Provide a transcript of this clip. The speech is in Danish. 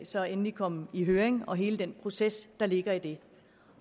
så endelig kom i høring og hele den proces der ligger i det